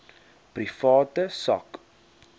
private sak